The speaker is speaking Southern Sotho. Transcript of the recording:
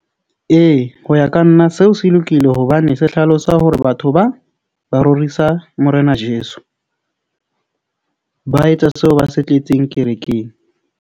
Ee, ho ya ka nna, seo se lokile hobane se hlalosa hore batho ba ba rorisa Morena Jeso. Ba etsa seo ba se tletseng kerekeng.